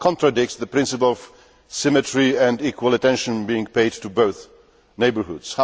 That contradicts the principle of symmetry and equal attention being paid to both neighbourhoods.